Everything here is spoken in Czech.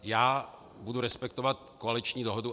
Já budu respektovat koaliční dohodu.